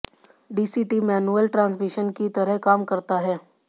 DCT manual transmission की तरह काम करता है